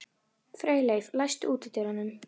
Freyleif, læstu útidyrunum.